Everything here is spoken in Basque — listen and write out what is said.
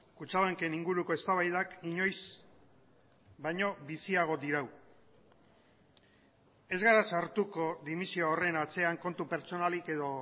kutxabanken inguruko eztabaidak inoiz baino biziago dirau ez gara sartuko dimisioa horren atzean kontu pertsonalik edo